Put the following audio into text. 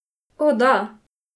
O, da!